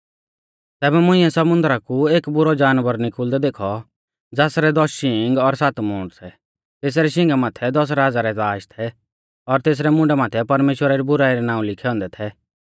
तैबै मुंइऐ समुन्दरा कु एक बुरौ जानवर निकुल़दै देखौ ज़ासरै दस शींग और सात मूंड थै तेसरै शींगा माथै दस राज़ा रै ताज़ थै और तेसरै मुंडा माथै परमेश्‍वरा री बुराई रै नाऊं लिखै औन्दै थै